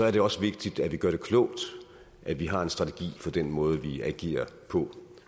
er det også vigtigt at vi gør det klogt og at vi har en strategi for den måde vi agerer på